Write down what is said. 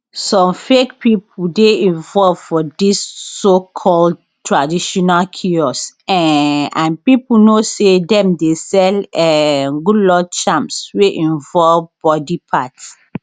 some fake pipo dey involved for dis socalled traditional cures um and pipo know say dem dey sell um good luck charms wey involve body parts